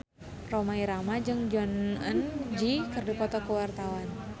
Rhoma Irama jeung Jong Eun Ji keur dipoto ku wartawan